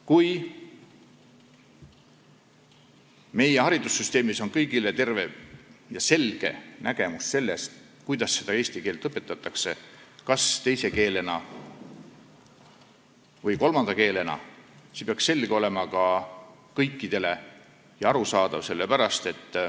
Kui meie haridussüsteemis on kõigil selge nägemus sellest, kuidas eesti keelt õpetatakse, kas teise või kolmanda keelena, siis peaks see olema kõikidele selge ja arusaadav.